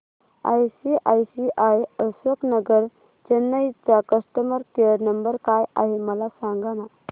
ICICI Ashok Nagar Chennai चा customer care number काय आहे मला सांगाना